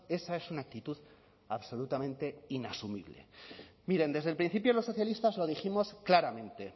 esa es una actitud absolutamente inasumible miren desde el principio los socialistas lo dijimos claramente